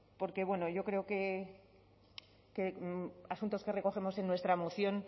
porque bueno yo creo que asuntos que recogemos en nuestra moción